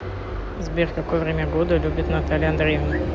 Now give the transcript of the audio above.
сбер какое время года любит наталья андреевна